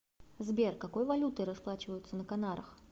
сбер какой валютой расплачиваются на канарах